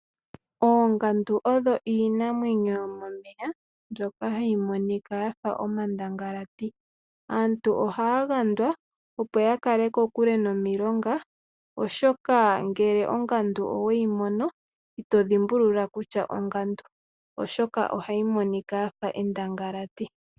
Oongandu odho iinamwenyo yomomeya. Mbyoka hayi monika yafa omandangalati. Aantu ohaya gandwa opo yakale kokule nomulonga oshoka ngele owamono ongandu itodhimbulula kutya ongandu, oshoka ohayi Monika yafa endangalati.